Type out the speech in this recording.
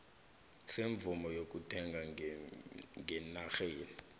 semvumo yokuletha ngenarheni